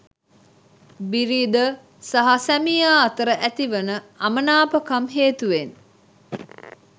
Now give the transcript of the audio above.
බිරිඳ හා සැමියා අතර ඇතිවන අමනාපකම් හේතුවෙන්